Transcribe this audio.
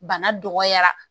Bana dɔgɔyara